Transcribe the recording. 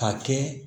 Ka kɛ